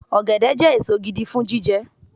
Ọ̀gẹ̀dẹ̀ jẹ́ èso gidi fún jíjẹ